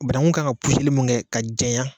Banaku kan ka mun kɛ ka janya.